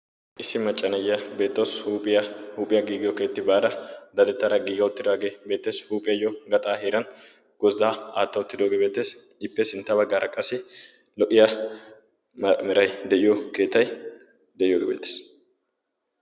issi macca nayiyaa beettawus. huuphiyaa huuhpiyaa giigiyo keetta baada dadettada giigia uttidooge beettees. huuphiyayyo gaxa heeran gozdda mala aatta uttidooge beettees. ippe sintta baggara qassi lo'iyaa meray de'iyo keettay de'iyooge beettees.